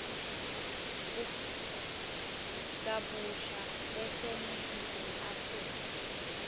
kabusha baseningizimu afrika